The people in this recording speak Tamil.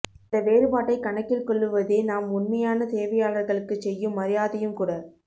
அந்தவேறுபாட்டை கணக்கில் கொள்ளுவதே நாம் உண்மையான சேவையாளர்களுக்குச் செய்யும் மரியாதையும் கூட